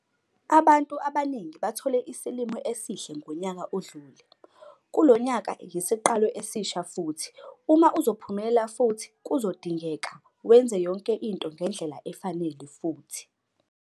Abantu abaningi bathole isilimo esihle ngonyaka odlule - kulo nyaka yisiqalo esisha futhi uma uzophumelela futhi kuzodingeka wenze yonke into ngendlela efanele futhi.